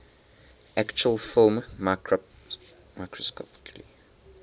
actual film microscopically